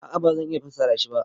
A'a ba zan iya fassara shi ba.